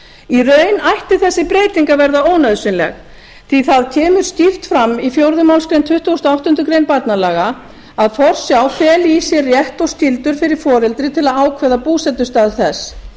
í raun ætti þessi breyting að verða ónauðsynleg því að það kemur skýrt fram í fjórðu málsgrein tuttugustu og áttundu grein barnalaga að forsjá feli í sér rétt og skyldur fyrir foreldri til að ákveða búsetustað þess